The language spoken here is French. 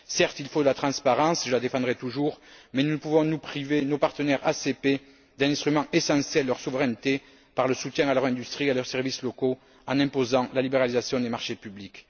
Certes, il faut de la transparence je la défendrai toujours mais pouvons nous priver nos partenaires ACP d'un instrument essentiel de leur souveraineté par le soutien à leur industrie et à leurs services locaux en imposant la libéralisation des marchés publics?